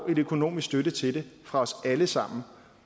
økonomisk støtte til fra alle sammen